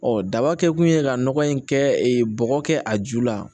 Ɔ daba kɛ kun ye ka nɔgɔ in kɛ bɔgɔ kɛ a ju la